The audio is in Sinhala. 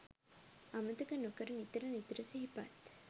අමතක නොකර නිතර නිතර සිහිපත්